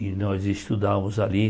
E nós estudávamos ali.